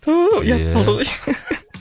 түү иә ұят болды ғой